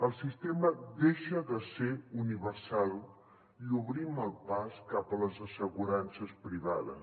el sistema deixa de ser universal i obrim el pas cap a les assegurances privades